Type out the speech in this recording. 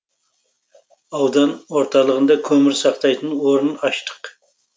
аудан орталығында көмір сақтайтын орын аштық